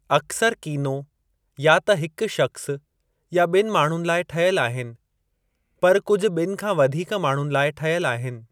अक्सर कीनो या त हिक शख़्स या ॿिनि माण्हुनि लाइ ठहियल आहिनि, पर कुझु ॿिनि खां वधीक माण्हुनि लाइ ठहियल आहिनि।